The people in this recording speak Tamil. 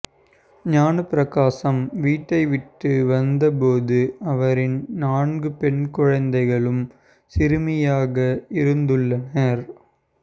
ஞான பிரகாசம் வீட்டைவிட்டு வந்தபோது அவரின் நான்கு பெண் பிள்ளைகளும் சிறுமிகளாக இருந்துள்ளனர்